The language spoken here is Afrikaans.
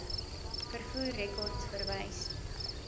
vervoer rekords verwys